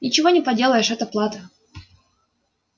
ничего не поделаешь это плата